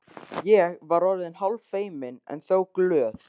Ég var orðin hálffeimin, en þó glöð.